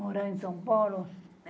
Morar em São Paulo?